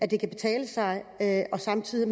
det kan betale sig og at man samtidig